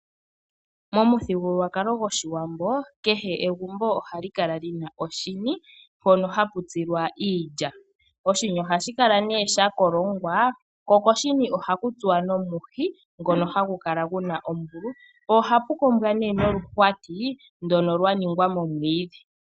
Pamuthigululwakalo gOshiwambo kehe egumbo ohali kala li na oshini, mpono hapu tsilwa iilya. Oshini ohashi kala sha kolongwa ko koshini ohaku tsuwa nomuhi ngono hagu kala gu na ondungu. Ohapu kombwa noluhwati lwa ningwa momiidhi.